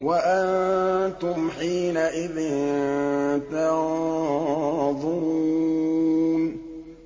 وَأَنتُمْ حِينَئِذٍ تَنظُرُونَ